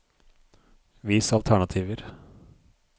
Vis alternativer